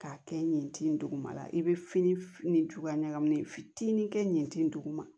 K'a kɛ yen tin duguma i bɛ fini f ni cogoya ɲagaminen fitinin kɛ yen tin duguma